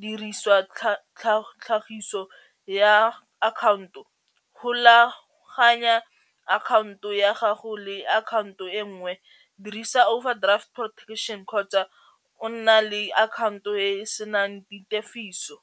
diriswa tlhagiso ya akhaonto golaganya akhaonto ya gago le akhaonto e nngwe dirisa overdraft protection kgotsa o nna le account o e e senang ditefiso.